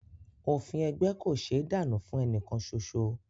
Òfin ẹgbẹ́ kò ṣéé dànù fún ẹnìkan soso